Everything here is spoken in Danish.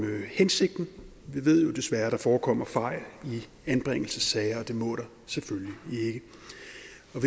hensigten vi ved jo desværre at der forekommer fejl i anbringelsessager og det må der selvfølgelig